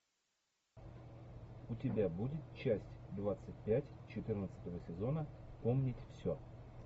у тебя будет часть двадцать пять четырнадцатого сезона помнить все